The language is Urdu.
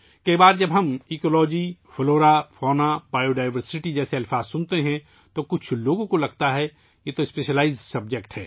اکثر اوقات، جب ہم ماحولیات، نباتات، حیوانات، حیاتیاتی تنوع جیسے الفاظ سنتے ہیں، تو کچھ لوگ سوچتے ہیں کہ یہ خصوصی موضاعات ہیں